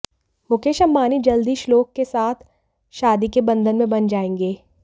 मुकेश अंबानी जल्द ही श्लोक के साथ शादी के बंधन में बंध जाएंगे